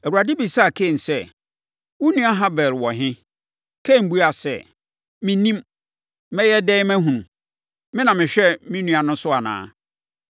Awurade bisaa Kain sɛ, “Wo nua Habel wɔ he?” Kain buaa sɛ, “Mennim. Mɛyɛ dɛn mahunu? Me na mehwɛ me nua no so anaa?”